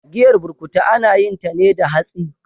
Giyar burkutu ana yinta ne da hatsi.